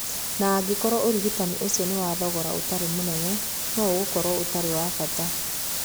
Na angĩkorũo ũrigitani ũcio nĩ wa thogora ũtarĩ mũnene, no ũkorũo ũtarĩ wa bata.'